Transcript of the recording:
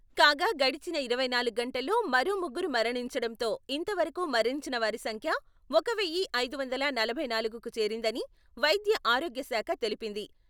కాగా గడచిన ఇరవై నాలుగు గంటల్లో మరో ముగ్గురు మరణించడంతో ఇంత వరకు మరణించిన వారి సంఖ్య ఒక వెయ్యి ఐదు వందల నలభై నాలుగుకు చేరిందని వైద్య ఆరోగ్య శాఖ తెలిపింది.